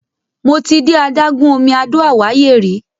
Mo ti de adágún omi Àdó Àwáyé rí.